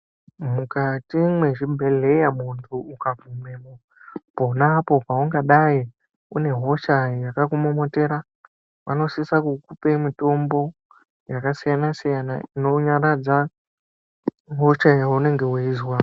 Mukati mwezvibhedhleya muntu ukagumeyo ponapo paungadai une hosha yakumomotera vanosisa kukupe mitombo yakasiyana siyana inonyaradza hosha yaunenge weizwa.